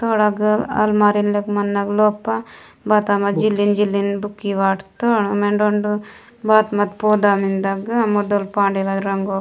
थोड़ा गल अलमारी लेक मनलोपा बतामा जिलिन जिलिन बुक वन्तत मेनरारा बात मन बोड़ा पैदा मुडल पांडे रंगागत --